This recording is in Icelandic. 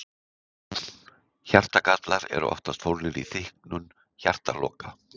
Hjartagallar eru oftast fólgnir í þykknun hjartaloka.